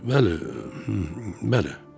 Bəli, bəli.